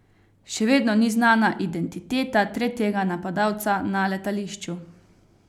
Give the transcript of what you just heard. Še vedno ni znana identiteta tretjega napadalca na letališču.